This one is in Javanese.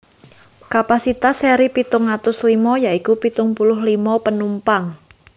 Kapasitas seri pitung atus limo ya iku pitung puluh limo penumpang